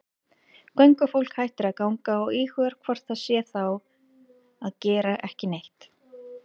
Göngufólk hættir að ganga og íhugar hvort það sé þá að gera ekki neitt.